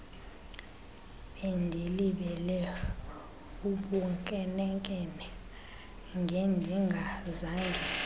bendilibele bubunkenenkene ngendingazange